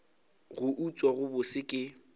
go utswa go bose ke